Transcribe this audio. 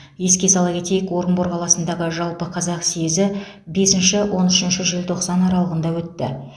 еске сала кетейік орынбор қаласындағы жалпықазақ съезі бесінші он үшінші желтоқсан аралығында өтті